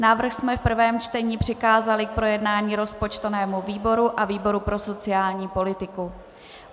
Návrh jsme v prvém čtení přikázali k projednání rozpočtovému výboru a výboru pro sociální politiku.